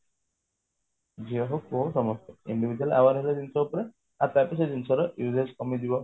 ଝିଅ ହଉ ପୁଅ ହଉ ସମସ୍ତେ individual ହେଲେ ଜିନିଷ ଉପରେ ଆଉ ତାପରେ ସେ ଜିନିଷ ଟା use କମିଯିବ